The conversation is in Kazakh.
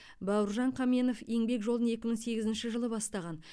бауыржан қаменов еңбек жолын екі мың сегізінші жылы бастаған